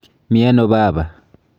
Mi ano baba?